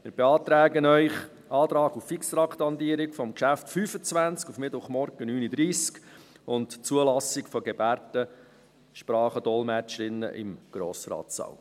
Wir beantragen Ihnen, die Fixtraktandierung des Traktandums 25 auf den Mittwochmorgen, 9.30 Uhr, sowie die Zulassung von Gebärdensprach-Dolmetscherinnen im Grossratssaal.